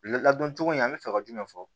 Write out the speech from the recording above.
Ladon cogo in an bɛ fɛ ka jumɛn fɔ